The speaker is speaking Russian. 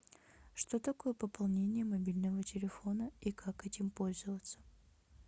что такое пополнение мобильного телефона и как этим пользоваться